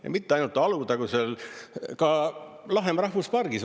Ja mitte ainult Alutagusel, ka Lahemaa rahvuspargis.